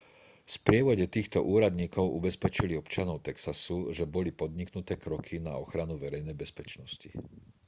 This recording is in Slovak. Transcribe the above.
v sprievode týchto úradníkov ubezpečil občanov texasu že boli podniknuté kroky na ochranu verejnej bezpečnosti